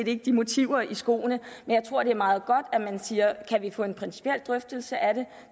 ikke de motiver i skoene men jeg tror det er meget godt at man siger kan vi få en principiel drøftelse af det